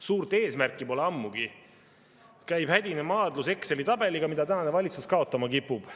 Suurt eesmärki pole ammugi, käib hädine maadlus Exceli tabeliga, mida tänane valitsus kaotama kipub.